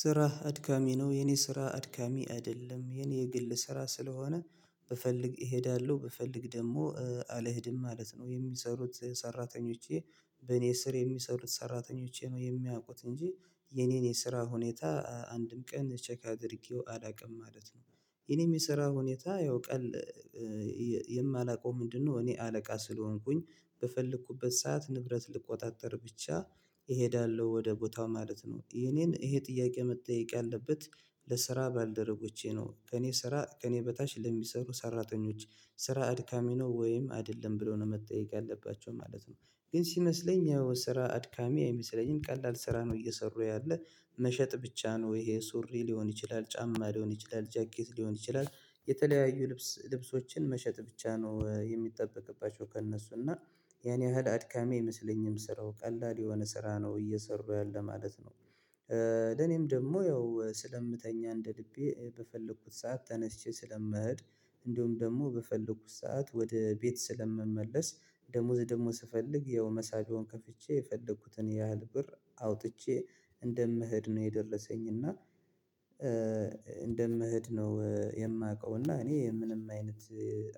ስራ አድካሚ ነው የኔ ስራ አድካሚ አይደለም የኔ የግል ስራ ስለሆነ ብፈልግ እሄዳለሁ ብፈልግ ደግሞ አልሄድም ማለት ነው። የሚሰሩት ሰራተኞቼ በኔ ስር የሚሰሩት ሰራተኞቼ ነው የሚያውቁት እንጂ የኔን የስራ ሁኔታ አንድም ቀን ቼክ አድርጌው አላውቅም ማለት ነው። የኔም የስራ ሁኔታ ያው ቀን የማላውቀው ምንድነው? እኔ አለቃ ስለሆንኩኝ በፈለኩበት ሰዓት ንብረት ልቆጣጠር ብቻ እሄዳለሁ ወደ ቦታው ማለት ነው። የኔን ይሄ ጥያቄ መጠየቅ ያለበት። ለስራ ባልደረቦቼ ነው ከእኔ ስራ ከእኔ በታች ለሚሰሩ ሰራተኞች ስራ አድካሚ ነው ወይም አይደለም ብለው ነው መጠየቅ ያለባቸው ማለት ነው። ግን ሲመስለኝ ያው ስራ አድካሚ አይመስለኝም ቀላል ስራ ነው። እየሰሩ ያለ መሸጥ ብቻ ነው ይሄ ሱሪ ሊሆን ይችላል ጫማ ሊሆን ይችላል ጃኬት ሊሆን ይችላል። የተለያዩ ልብስ ልብሶችን መሸጥ ብቻ ነው የሚጠበቅባቸው ከእነሱ እና ያን ያህል አድካሚ አይመሰለኝም ስራው ቀላል የሆነ ስራ ነው እየሰሩ ያለ ማለት ነው። ለኔም ደግሞ ያው ስለምተኛ እንደልቤ በፈለኩት ሰዓት ተነስቼ ስለምሄድ እንደውም ደግሞ በፈለኩት ሰዓት ወደ ቤት ስለምመለስ ደሞዝ ደሞዝ ስፈልግ ያው መሳቢያውን ከፍቼ የፈለኩትን ያህል ብር አውጥቼ እንደምሄድ ነው። የደረሰኝ እና እንደምሄድ ነው የማውቀው። እና እኔ ምንም አይነት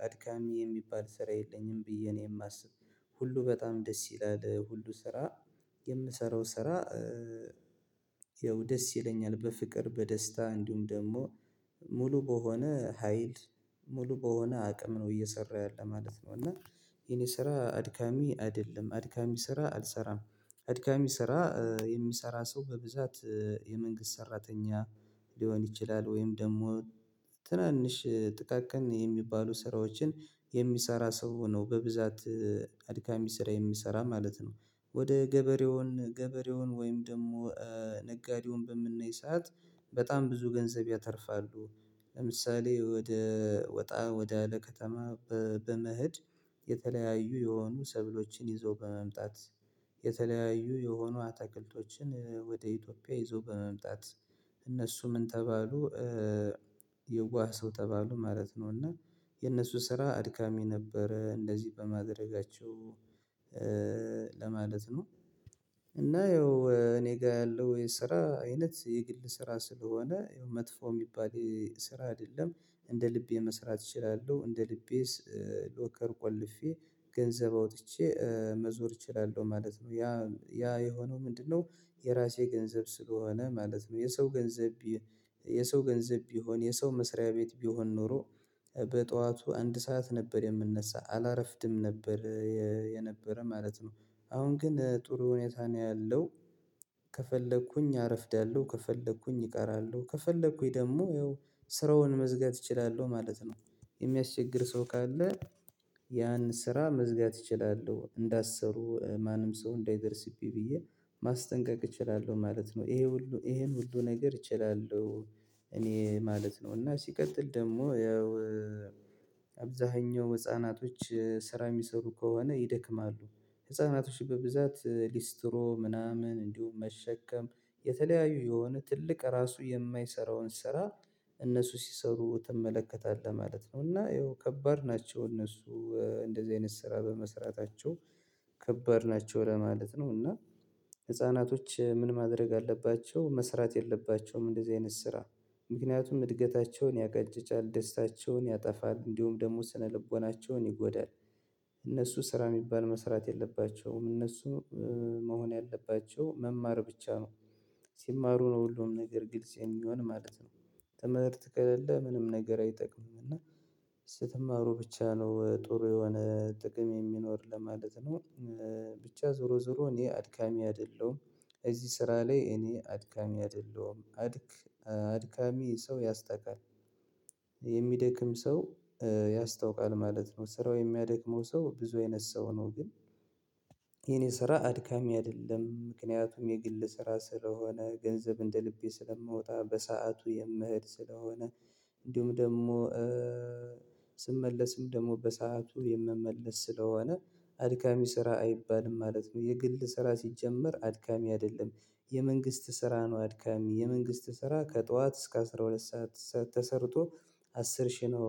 አድካሚ የሚባል ስራ የለኝም ብዬ እኔ የማስብ ሁሉ በጣም ደስ ይላል ሁሉ ስራ የምሰራው ስራ። ይኸው ደስ ይለኛል በፍቅር በደስታ እንዲሁም ደግሞ ሙሉ በሆነ ሀይል ሙሉ በሆነ አቅም ነው እየሰራ ያለ ማለት ነው። እና የኔ ስራ አድካሚ አይደለም አድካሚ ስራ አልሰራም። አድካሚ ስራ የሚሰራ ሰው በብዛት የመንግስት ሰራተኛ ሊሆን ይችላል ወይም ደግሞ ትናንሽ ጥቃቅን የሚባሉ ስራዎችን የሚሰራ ሰው ሆኖ በብዛት አድካሚ ስራ የሚሰራ ማለት ነው። ወደ ገበሬውን ገበሬውን ወይም ደግሞ ነጋዴውን በምናይ ሰዓት በጣም ብዙ ገንዘብ ያተርፋሉ። ለምሳሌ ወደ ወጣ ወደ አለ ከተማ በመኸድ የተለያዩ የሆኑ ሰብሎችን ይዞ በመምጣት የተለያዩ የሆኑ አታክልቶችን ወደ ኢትዮጵያ ይዞ በመምጣት እነሱ ምን ተባሉ? የዋህ ሰው ተባሉ ማለት ነው። እና የእነሱ ስራ አድካሚ ነበረ እንደዚህ በማድረጋቸው ለማለት ነው። እና ያው እኔ ጋር ያለው የስራ አይነት የግል ስራ ስለሆነ መጥፎ የሚባል ስራ አይደለም። እንደ ልቤ መስራት እችላለሁ እንደ ልቤ ሎከር ቆልፌ ገንዘብ አውጥቼ መዞር እችላለሁ ማለት ነው። ያ የሆነው ምንድነው? የራሴ ገንዘብ ስለሆነ ማለት ነው የሰው ገንዘብ። የሰው ገንዘብ ቢሆን የሰው መስሪያ ቤት ቢሆን ኖሮ በጠዋቱ አንድ ሰዓት ነበር የምነሳ አላረፍድም ነበር። የነበረ ማለት ነው። አሁን ግን ጥሩ ሁኔታ ነው ያለው። ከፈለኩኝ አረፍዳለሁ ከፈለኩኝ ይቀራሉ ከፈለኩኝ ደግሞ ያው ስራውን መዝጋት እችላለሁ ማለት ነው። የሚያስቸግር ሰው ካለ ያን ስራ መዝጋት እችላለሁ እንዳሰሩ ማንም ሰው እንዳይደርስብኝ ብዬ ማስጠንቀቅ እችላለሁ ማለት ነው። ይሄ ሁሉ ይሄን ሁሉ ነገር እችላለሁ። እኔ ማለት ነው እና ሲቀጥል ደግሞ ያው አብዛሀኛው ህፃናቶች ስራ የሚሰሩ ከሆነ ይደክማሉ። ህፃናቶች በብዛት ሊስትሮ ምናምን እንዲሁም መሸከም የተለያዩ የሆነ ትልቅ ራሱ የማይሰራውን ስራ እነሱ ሲሰሩ ትመለከታለህ ማለት ነው። እና ይኸው ከባድ ናቸው እነሱ እንደዚህ አይነት ስራ በመስራታቸው ከባድ ናቸው ለማለት ነው። እና ህፃናቶች ምን ማድረግ አለባቸው መስራት የለባቸውም እንደዚህ አይነት ስራ ምክንያቱም እድገታቸውን ያጋጭጫል ደስታቸውን ያጠፋል እንዲሁም ደግሞ ስነልቦናቸውን ይጎዳል። እነሱ ስራ የሚባል መስራት የለባቸውም እነሱ መሆን ያለባቸው መማር ብቻ ነው። ሲማሩ ነው ሁሉም ነገር ግልጽ የሚሆን ማለት ነው። ትምህርት ከሌለ ምንም ነገር አይጠቅምም እና። ስትማሩ ብቻ ነው ጥሩ የሆነ ጥቅም የሚኖር ለማለት ነው። ብቻ ዞሮ ዞሮ እኔ አድካሚ አይደለሁም። እዚህ ስራ ላይ እኔ አድካሚ አይደለሁም አድክ አድካሚ ሰው ያስጠላል። የሚደክም ሰው ያስታውቃል ማለት ነው። ስራው የሚያደክመው ሰው ብዙ አይነት ሰው ነው ግን። የኔ ስራ አድካሚ አይደለም ምክንያቱም የግል ስራ ስለሆነ ገንዘብ እንደ ልቤ ስለማወጣ በሰአቱ የምኸድ ስለሆነ። እንዲሁም ደግሞ ስመለስም ደግሞ በሰአቱ የምመለስ ስለሆነ። አድካሚ ስራ አይባልም ማለት ነው የግል ስራ ሲጀመር አድካሚ አይደለም። የመንግስት ስራ ነው አድካሚ የመንግስት ስራ ከጠዋት እስከ አስራ ሁለት ሰዓት ሰዓት ተሰርቶ። አስር ሺህ ነው።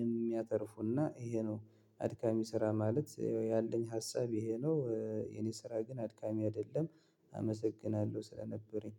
የሚያተርፉና ይሄ ነው። አድካሚ ስራ ማለት ያለኝ ሀሳብ ይሄ ነው። የኔ ስራ ግን አድካሚ አይደለም። አመሰግናለሁ ስለነበረኝ